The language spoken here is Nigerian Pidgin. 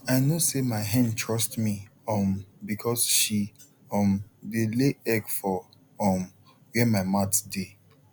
i know say my hen trust me um because she um dey lay egg for um where my mat dey